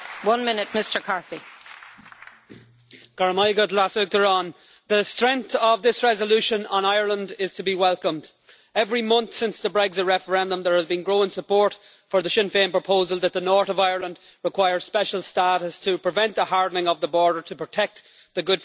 Madam President, the strength of this resolution on Ireland is to be welcomed. Every month since the Brexit referendum there has been growing support for the Sinn Féin proposal that the north of Ireland acquire special status to prevent a hardening of the border, to protect the Good Friday Agreement and to defend citizens' rights.